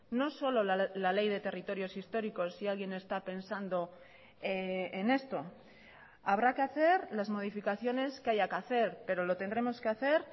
no solo la ley de territorios históricos si alguien está pensando en esto habrá que hacer las modificaciones que haya que hacer pero lo tendremos que hacer